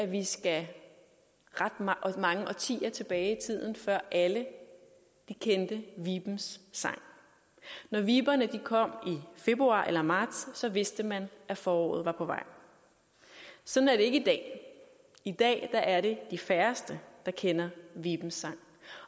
vi skal ret mange årtier tilbage i tiden før alle kendte vibens sang når viberne kom i februar eller marts vidste man at foråret var på vej sådan er det ikke i dag i dag er det de færreste der kender vibens sang